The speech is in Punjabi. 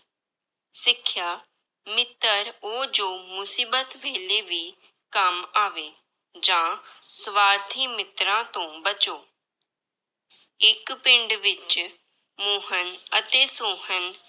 ਸਿੱਖਿਆ, ਮਿੱਤਰ ਉਹ ਜੋ ਮੁਸੀਬਤ ਵੇਲੇ ਵੀ ਕੰਮ ਆਵੇ, ਜਾਂ ਸਵਾਰਥੀ ਮਿੱਤਰਾਂ ਤੋਂ ਬਚੋ ਇੱਕ ਪਿੰਡ ਵਿੱਚ ਮੋਹਨ ਅਤੇ ਸੋਹਨ